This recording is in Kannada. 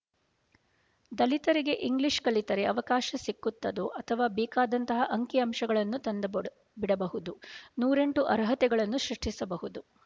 ದಲಿತರಿಗೆ ಇಂಗ್ಲೀಷ್ ಕಲಿತರೆ ಅವಕಾಶ ಸಿಕ್ಕತ್ತದೋ ಅಥವಾ ಬೇಕಾದಂತಹ ಅಂಕಿ ಅಂಶಗಳನ್ನು ತಂದು ಬಿಡಬಹುದು ನೂರೆಂಟು ಅರ್ಹತೆಗಳನ್ನು ಸೃಷ್ಟಿಸಬಹುದು